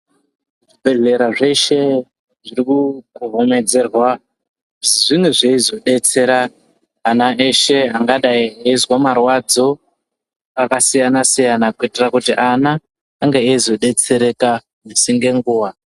Zvibhehlera zveshe, zviri kukohomedzerwa zvinge zveizodetsera ana eshe angadai eizwa marwadzo akasiyana-siyana kuitira kuti ana ange eizodetsereka misi ngenguwa.